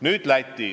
Nüüd Läti.